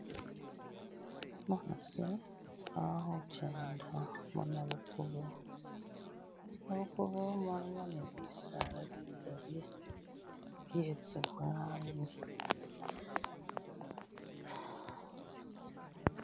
Umukhasi ali khukenda munabukubo, nabukubo mullimo ne bisaala bikaali byetsimwanyi